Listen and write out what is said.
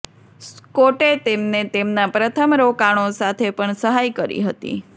સ્કોટ્ટે તેમને તેમના પ્રથમ રોકાણો સાથે પણ સહાય કરી હતી